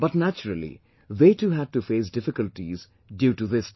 But naturally they too had to face difficulties due to this decision